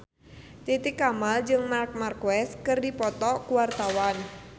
Titi Kamal jeung Marc Marquez keur dipoto ku wartawan